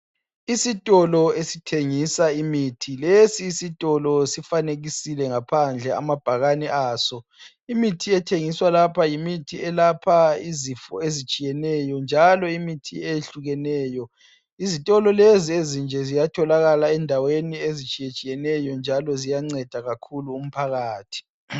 Isitolo esithengisa imithi. Lesi sitolo sifanekisile ngaphandle amabhakane aso .Imithi ethengiswa lapha yimithi eyelapha izifo ezitshiyeneyo njalo imithi eyehlukeneyo. Izitolo lezi ezinje ziyatholakala endaweni ezitshiyetshiyeneyo njalo ziyanceda kakhulu umphakathi.